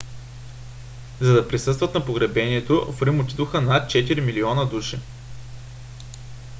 за да присъстват на погребението в рим отидоха над четири милиона души